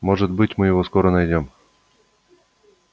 может быть мы его скоро найдём